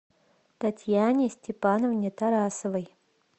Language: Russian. татьяне степановне тарасовой